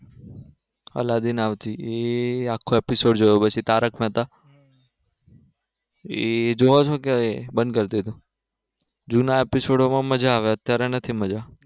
Aladdin આવતી e આખો episode જોયો પછી તારક મેહતા એ જોવો છે કે બંધ કરી દીધો જુના episode માં મજા આવે અત્યારે નથી મજા.